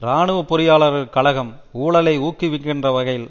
இராணுவ பொறியாளர்கள் கழகம் ஊழலை ஊக்குவிக்கிற வகையில்